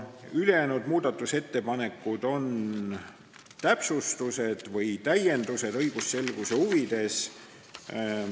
Ülejäänud muudatusettepanekud on täpsustused või täiendused õigusselguse huvides.